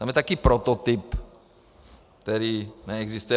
Tam je také prototyp, který neexistuje.